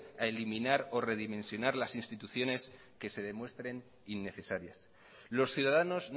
a eliminar o redimensionar las instituciones que se demuestren innecesarias los ciudadanos